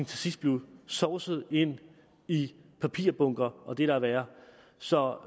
til sidst blev sovset ind i papirbunker og det der er værre så